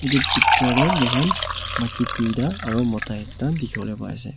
tuh picture teh moi khan maiki duita aro mota ekta dikhi wole pari ase.